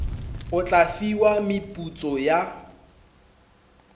o tla fiwa meputso ya